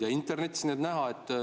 Ja ka internetis need on näha.